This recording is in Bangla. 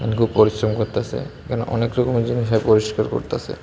পরিশ্রম করতাসে এখানে অনেক রকমের জিনিস সে পরিষ্কার করতাসে।